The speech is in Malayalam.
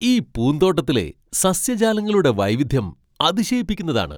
ഈ പൂന്തോട്ടത്തിലെ സസ്യജാലങ്ങളുടെ വൈവിധ്യം അതിശയിപ്പിക്കുന്നതാണ്.